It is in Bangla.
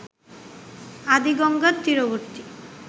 আদি গঙ্গার তীরবর্তী